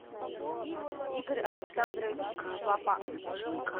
игорь александрович шлапак